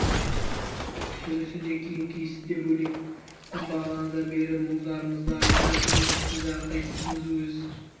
жүрісі де киім киісі де бөлек біз бағанадан бері өз мұң-зарымызды айтып жатырмыз біз әрқайсымыз өз